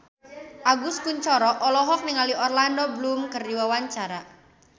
Agus Kuncoro olohok ningali Orlando Bloom keur diwawancara